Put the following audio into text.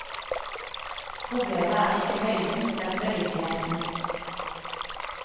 Problemet er ikke høyden, men beliggenheten.